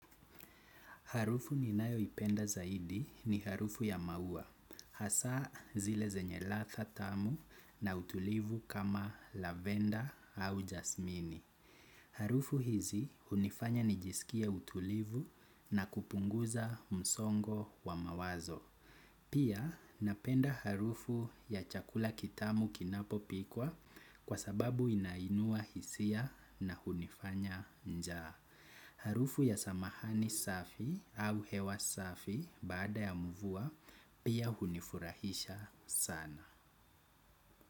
Harufu ni nayo ipenda zaidi ni harufu ya maua, hasa zile zenye ladha tamu na utulivu kama lavenda au jasmini. Harufu hizi unifanya nijisikie utulivu na kupunguza msongo wa mawazo. Pia napenda harufu ya chakula kitamu kinapo pikwa kwa sababu inainua hisia na unifanya njaa. Harufu ya samahani safi au hewa safi baada ya mvua pia hunifurahisha sana.